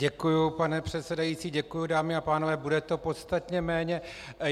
Děkuji, pane předsedající, děkuji, dámy a pánové, bude to podstatně méně.